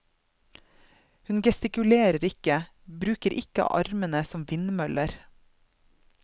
Hun gestikulerer ikke, bruker ikke armene som vindmøller.